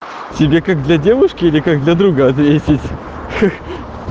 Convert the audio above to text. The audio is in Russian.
тебе как для девушки или как для друга ответить ха